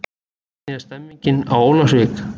Hvernig er stemningin á Ólafsvík?